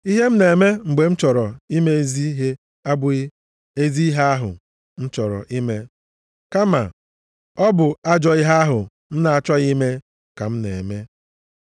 Ihe m na-eme mgbe m chọrọ ime ezi ihe abụghị ezi ihe ahụ m chọrọ ime kama ọ bụ ajọọ ihe ahụ m na-achọghị ime ka m na-eme.